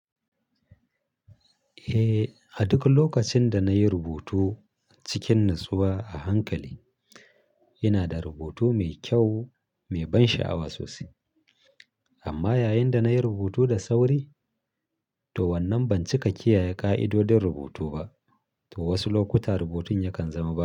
Eh, a duk lokacin da na yi rubutu cikin natsuwa a hankali, yana da rubutu mai kyau mai ban sha'awa sosai. Amma yayin da na yi rubutu da sauri, to wannan ban cika kiyaye ƙa'idodin rubutu ba, to wasu lokuta rubutun yakan zama ba.